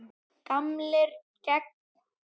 Gamlir gegn nýjum?